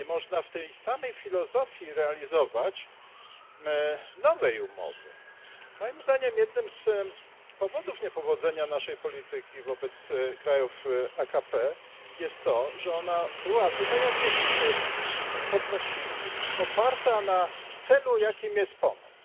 Nie można w tej samej filozofii realizować nowej umowy. Moim zdaniem, jednym z powodów niepowodzenia naszej polityki wobec krajów AKP jest to, że była ona, jak tutaj niektórzy podnosili, oparta na celu, jakim jest pomoc.